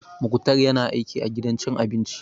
Muktar ya na aiki a gidan cin abinci